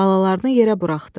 Balalarını yerə buraxdı.